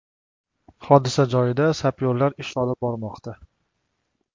Hodisa joyida sapyorlar ish olib bormoqda.